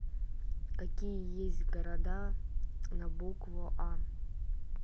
какие есть города на букву а